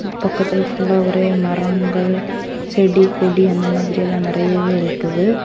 பக்கத்துல புள்ளா ஒரே மரங்கள் செடி கொடி அந்த மாதிரியெல்லா நிறையவே இருக்குது.